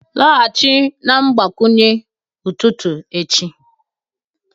laghachi na mgbakwunye ụtụtụ echi